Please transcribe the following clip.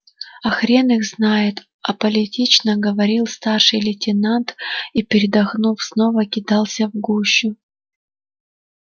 а хрен их знает аполитично говорил старший лейтенант и передохнув снова кидался в гущу